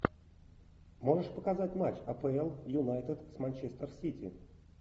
можешь показать матч апл юнайтед с манчестер сити